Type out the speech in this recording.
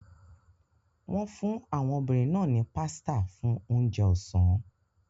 Wọ́n fún àwọn obìnrin náà ní pasta fún oúnjẹ ọ̀sán.